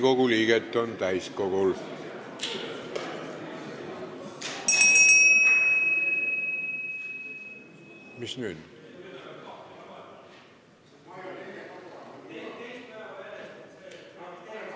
Kohaloleku kontroll Täiskogul on 81 Riigikogu liiget.